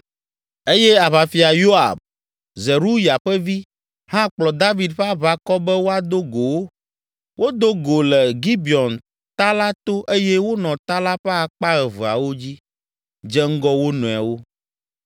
eye Aʋafia Yoab, Zeruya ƒe vi, hã kplɔ David ƒe aʋakɔ be woado go wo. Wodo go le Gibeon ta la to eye wonɔ ta la ƒe akpa eveawo dzi, dze ŋgɔ wo nɔewo.